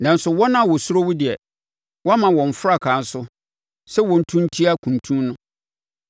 Nanso wɔn a wɔsuro wo deɛ, woama wɔn frankaa so sɛ wɔntu ntia kuntun no.